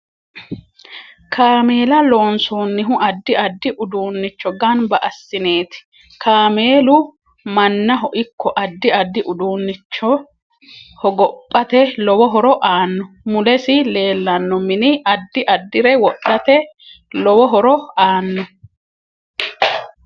Kameela lonosoonihu addi addi uduunicho ganba assineeti kameelu mannaho ikko addi addi uduunichon hogophate lowo horo aano mulesi leelanno mini addi addire wodhate lowo horo aanno